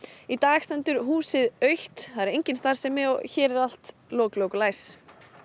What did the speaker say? í dag stendur húsið autt það er engin starfsemi og hér er allt lok lok og læs